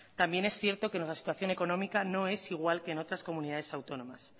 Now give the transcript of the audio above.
también es cierto que la situación económica no es igual que en otras comunidades autónomas